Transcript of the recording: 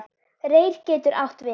Reyr getur átt við